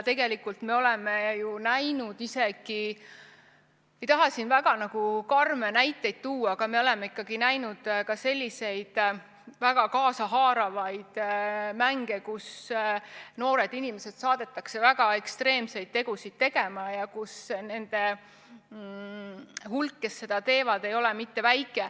Ei taha siin väga karme näiteid tuua, aga me oleme näinud ka selliseid väga kaasahaaravaid mänge, kus noored inimesed saadetakse väga ekstreemseid tegusid tegema ja nende hulk, kes seda teevad, ei ole mitte väike.